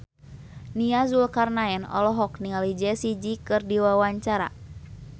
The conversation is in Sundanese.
Nia Zulkarnaen olohok ningali Jessie J keur diwawancara